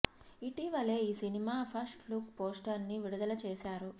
ఇటీవలే ఈ cinema first look poster ని విడుదల చేసారు